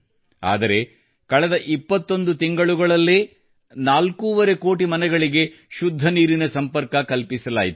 ಆದರೆ ಕಳೆದ 21 ತಿಂಗಳುಗಳಲ್ಲೇ ಎಲ್ಲಾ ನಾಲ್ಕೂವರೆ ಕೋಟಿ ಮನೆಗಳಿಗೆ ಶುದ್ಧ ನೀರಿನ ಸಂಪರ್ಕ ಕಲ್ಪಿಸಲಾಯಿತು